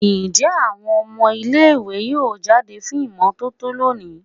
Njẹ awọn ọmọ ile-iwe yoo jade fun imototo loni?